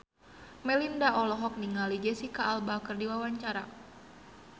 Melinda olohok ningali Jesicca Alba keur diwawancara